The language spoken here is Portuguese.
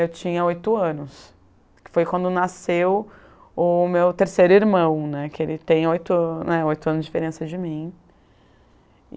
Eu tinha oito anos, que foi quando nasceu o meu terceiro irmão, né, que ele tem oito né, oito anos de diferença de mim.